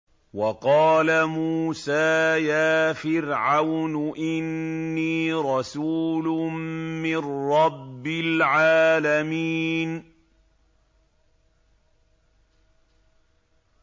وَقَالَ مُوسَىٰ يَا فِرْعَوْنُ إِنِّي رَسُولٌ مِّن رَّبِّ الْعَالَمِينَ